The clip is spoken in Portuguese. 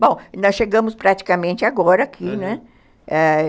Bom, nós chegamos praticamente agora aqui, né?